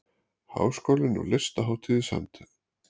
Háskólinn og Listahátíð í samstarf